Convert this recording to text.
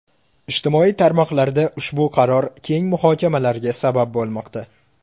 Ijtimoiy tarmoqlarda ushbu qaror keng muhokamalarga sabab bo‘lmoqda.